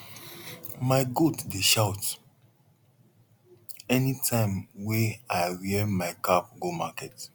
my goat dey shout any time wey i wear my cap go market